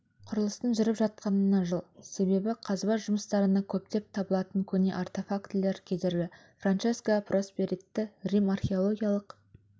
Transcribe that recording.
құрылыстың жүріп жатқанына жыл себебі қазба жұмыстарына көптеп табылатын көне артефактілер кедергі франческо просперетти рим археологиялық